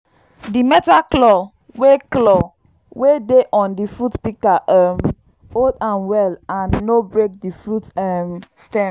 di metal claw wey claw wey dey on the fruit pika um hold am well and no break the fruit um stem